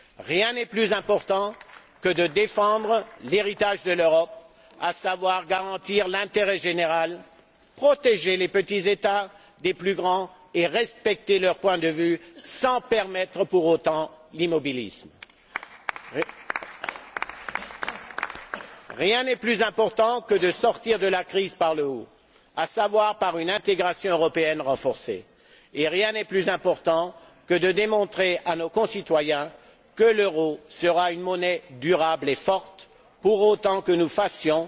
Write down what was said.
Rien n'est plus important que de défendre l'héritage de l'Europe, à savoir garantir l'intérêt général, protéger les petits États des plus grands et respecter leurs points de vue sans permettre pour autant l'immobilisme. Rien n'est plus important que de sortir de la crise par le haut, à savoir par une intégration européenne renforcée et rien n'est plus important que de démontrer à nos concitoyens que l'euro sera une monnaie durable et forte, pour autant que nous fassions